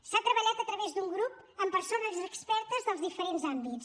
s’ha treballat a través d’un grup amb persones expertes dels diferents àmbits